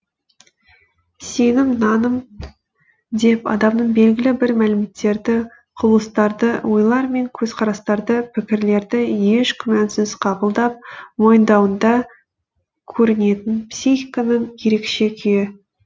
сенім наным деп адамның белгілі бір мәліметтерді құбылыстарды ойлар мен көзқарастарды пікірлерді еш күмәнсіз қабылдап мойындауында көрінетін психиканың ерекше күйі